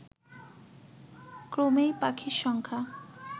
ক্রমেই পাখির সংখ্যা